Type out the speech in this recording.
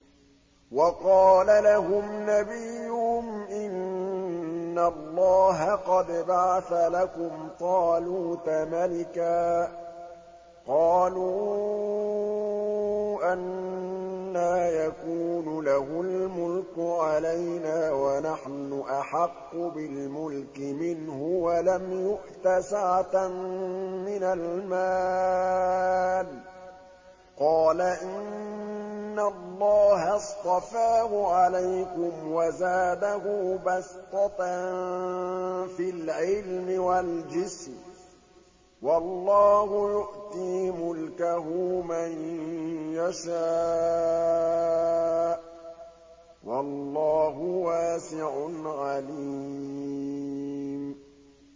وَقَالَ لَهُمْ نَبِيُّهُمْ إِنَّ اللَّهَ قَدْ بَعَثَ لَكُمْ طَالُوتَ مَلِكًا ۚ قَالُوا أَنَّىٰ يَكُونُ لَهُ الْمُلْكُ عَلَيْنَا وَنَحْنُ أَحَقُّ بِالْمُلْكِ مِنْهُ وَلَمْ يُؤْتَ سَعَةً مِّنَ الْمَالِ ۚ قَالَ إِنَّ اللَّهَ اصْطَفَاهُ عَلَيْكُمْ وَزَادَهُ بَسْطَةً فِي الْعِلْمِ وَالْجِسْمِ ۖ وَاللَّهُ يُؤْتِي مُلْكَهُ مَن يَشَاءُ ۚ وَاللَّهُ وَاسِعٌ عَلِيمٌ